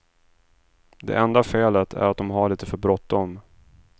Det enda felet är att de har lite för bråttom.